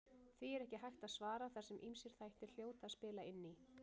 Því er ekki hægt að svara þar sem ýmsir þættir hljóta að spila inn í.